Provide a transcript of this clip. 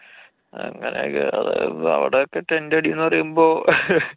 അങ്ങനൊക്കെ. അവടെക്കെ tent അടീന്നു പറയുമ്പൊ